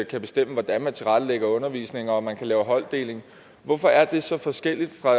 kan bestemme hvordan man tilrettelægger undervisningen og om man kan lave holddeling hvorfor er det så forskelligt fra